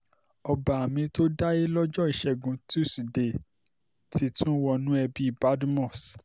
ọba mi-ín tó dáyé lọ́jọ́ ìṣẹ́gun tusidee ti tún wọnú ẹbí badmus